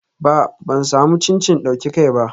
Ba, ban samu cincin dauki kai ba.